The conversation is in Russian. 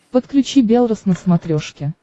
подключи белрос на смотрешке